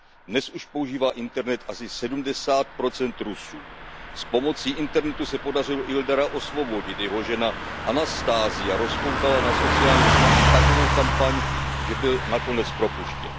Dnes už používá internet asi 70 Rusů. S pomocí internetu se podařilo Ildara osvobodit. Jeho žena Anastasia rozpoutala na sociálních sítích takovou kampaň, že byl nakonec propuštěn.